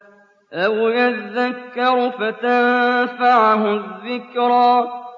أَوْ يَذَّكَّرُ فَتَنفَعَهُ الذِّكْرَىٰ